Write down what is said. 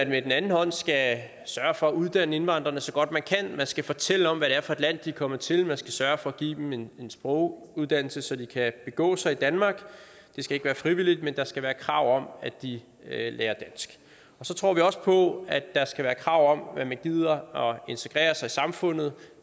med den anden hånd skal sørge for at uddanne indvandrerne så godt man kan man skal fortælle om er for et land de er kommet til man skal sørge for at give dem en sproguddannelse så de kan begå sig i danmark det skal ikke være frivilligt men der skal være krav om at de lærer dansk så tror vi også på at der skal være krav om at man gider at integrere sig i samfundet